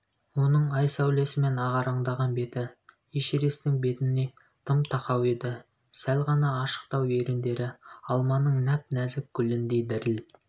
оның ай сәулесімен ағараңдаған беті эшересттің бетін тым тақау еді сәл ғана ашықтау еріндері алманың нәп-нәзік гүліндей діріл